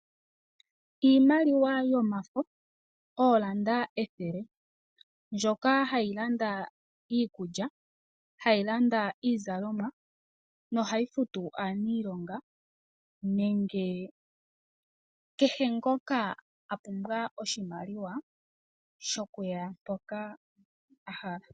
Iimaliwa yomafo, oolanda ethele mboka hayi landa iikulya, hayi landa iizalomwa nohayi futu aaniilonga, nenge kehe ngoka a pumbwa oshimaliwa shokuya mpoka a hala.